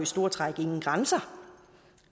store træk ingen grænser